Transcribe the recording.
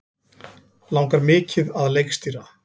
Langar mikið að leikstýra